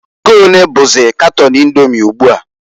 Ego onee bụzị katon Indomi ugbua?